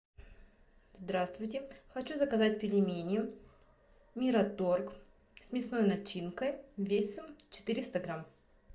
здравствуйте хочу заказать пельмени мираторг с мясной начинкой весом четыреста грамм